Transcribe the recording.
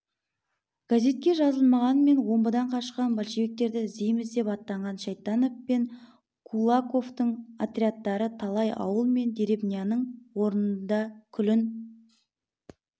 газетке жазбағанмен омбыдан қашқан большевиктерді іздейміз деп аттанған шайтанов пен кулаковтың отрядтары талай ауыл мен деревняның орнында күлін